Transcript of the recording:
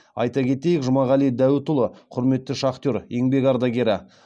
айта кетейік жұмағали дәуітұлы құрметті шахтер еңбек ардагері